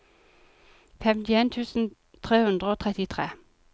femtien tusen tre hundre og trettitre